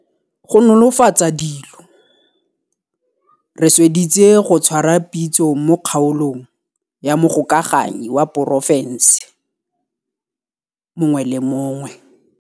Go nolofatsa dilo, re sweditse go tshwara pitso mo kgaolong ya mogokaganyi wa porofense mongwe le mongwe.